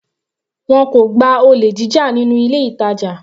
Wọn kò gba olè jíjà nínú ilé ìtàjà.